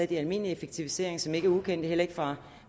de almindelige effektiviseringer som ikke er ukendte heller ikke fra